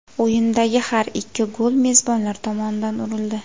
O‘yindagi har ikki gol mezbonlar tomonidan urildi.